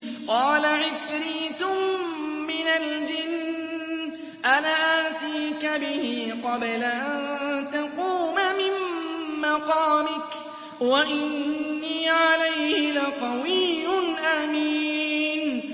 قَالَ عِفْرِيتٌ مِّنَ الْجِنِّ أَنَا آتِيكَ بِهِ قَبْلَ أَن تَقُومَ مِن مَّقَامِكَ ۖ وَإِنِّي عَلَيْهِ لَقَوِيٌّ أَمِينٌ